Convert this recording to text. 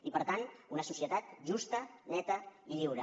i per tant una societat justa neta i lliure